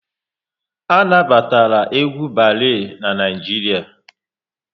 A na batara egwu balee n'Naijiria